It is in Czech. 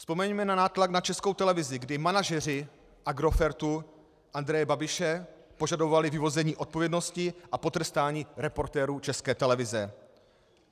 Vzpomeňme na nátlak na Českou televizi, kdy manažeři Agrofertu Andreje Babiše požadovali vyvození odpovědnosti a potrestaní reportérů České televize.